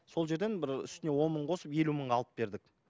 сол жерден бір үстіне он мың қосып елу мыңға алып бердік